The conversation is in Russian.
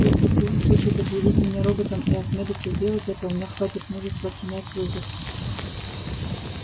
если куинн хочет объявить меня роботом и осмелится сделать это у меня хватит мужества принять вызов